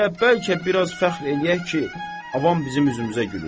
Hələ bəlkə biraz fəxr eləyək ki, avam bizim üzümüzə gülür.